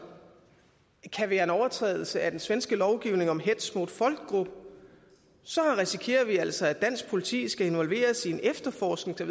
kan være en overtrædelse af den svenske lovgivning om hets mot folkgrupp risikerer vi altså at dansk politi skal involveres i en efterforskning og